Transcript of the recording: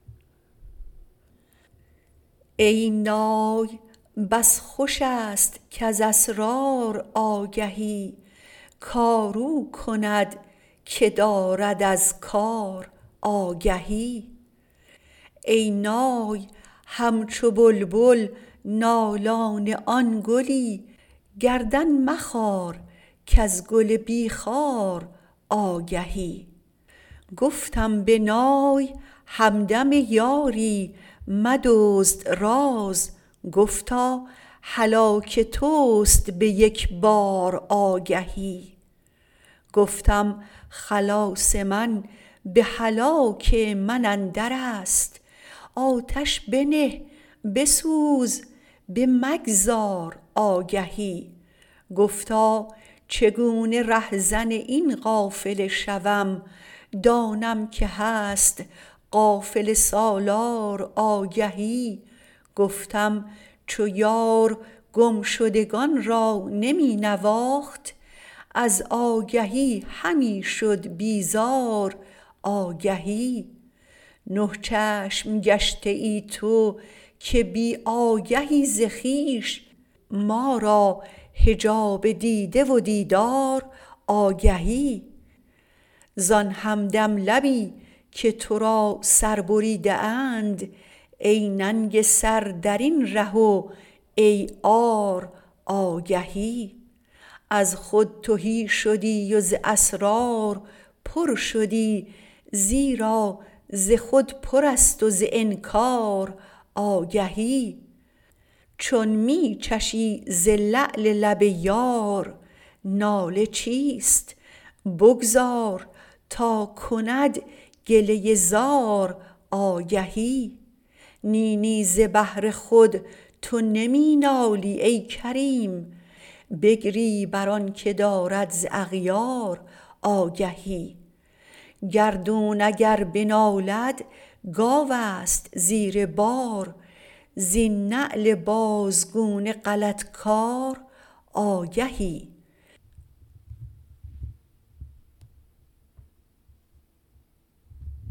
ای نای بس خوش است کز اسرار آگهی کار او کند که دارد از کار آگهی ای نای همچو بلبل نالان آن گلی گردن مخار کز گل بی خار آگهی گفتم به نای همدم یاری مدزد راز گفتا هلاک توست به یک بار آگهی گفتم خلاص من به هلاک من اندر است آتش بنه بسوز بمگذار آگهی گفتا چگونه رهزن این قافله شوم دانم که هست قافله سالار آگهی گفتم چو یار گم شدگان را نمی نواخت از آگهی همی شد بیزار آگهی نه چشم گشته ای تو که بی آگهی ز خویش ما را حجاب دیده و دیدار آگهی زان همدم لبی که تو را سر بریده اند ای ننگ سر در این ره و ای عار آگهی از خود تهی شدی و ز اسرار پر شدی زیرا ز خودپرست و ز انکار آگهی چون می چشی ز لعل لب یار ناله چیست بگذار تا کند گله ای زار آگهی نی نی ز بهر خود تو نمی نالی ای کریم بگری بر آنک دارد ز اغیار آگهی گردون اگر بنالد گاو است زیر بار زین نعل بازگونه غلط کار آگهی